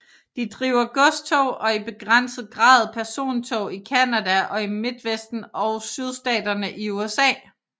De driver godstog og i begrænset grad persontog i Canada og i Midtvesten og Sydstaterne i USA